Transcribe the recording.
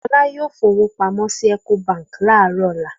Fọlá yóò fowó pamọ́ sí Ecobank láàárọ̀ ọ̀la.